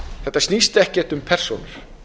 þetta snýst ekkert um persónur